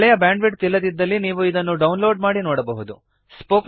ಒಳ್ಳೆಯ bandwidth ಇಲ್ಲದಿದ್ದಲ್ಲಿ ನೀವು ಇದನ್ನು ಡೌನ್ ಲೋಡ್ ಮಾಡಿ ನೋಡಬಹುದು